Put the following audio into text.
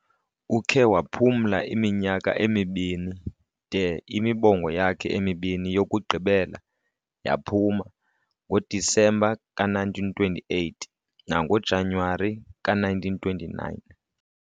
ukhe waphumla iminyaka emibini de imibongo yakhe emibini yokugqibela yaphuma ngoDisemba ka1928 nangoJanuwari ka1929.